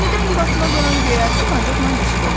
Yenidən yuvasına qonan göyərçin acıqla qışqırdı.